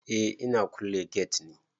Eh ina kulle gate ne.